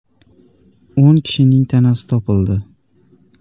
O‘n kishining tanasi topildi.